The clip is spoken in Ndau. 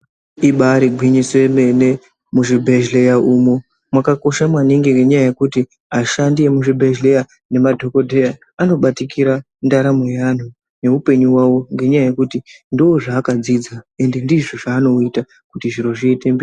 Ibayiri gwinyisi yemene muzvibhedhleya umo yakakosha maningi nenyaya yekuti ashandi emunzvimbo zviya nemadhokoteya anobatikira ndaramo yewanhu nehupenyu hwevanhu nenyaya yekuti ndizvo zvaakadzidza ende ndizvo zvavanoita kuti zviro zviende mberi.